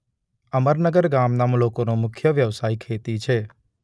અમરનગર ગામના લોકોનો મુખ્ય વ્યવસાય ખેતી છે.